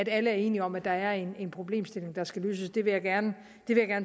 alle er enige om at der er en problemstilling der skal løses det vil jeg gerne